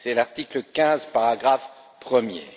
C'est l'article 15, paragraphe premier.